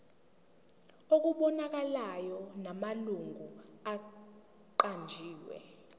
okubonakalayo namalungu aqanjiwe